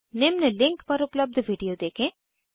निम्न लिंक पर उपलब्ध वीडियो देखें